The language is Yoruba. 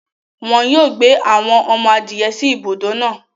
Wọn yóò gbé awọn ọmọ-adìẹ̀ sí ìbùdọ náà